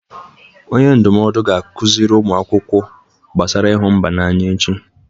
Onye ndụmọdụ ga-akụziri ụmụ akwụkwọ gbasara ịhụ mba n'anya echi.